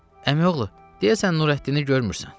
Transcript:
Əmioğlu, deyəsən Nurəddini görmürsən.